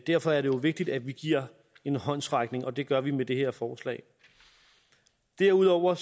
derfor er det jo vigtigt at vi giver en håndsrækning og det gør vi med det her forslag derudover